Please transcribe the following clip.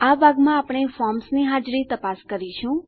આ ભાગમાં આપણે ફોર્મ્સની હાજરી તપાસ કરીશું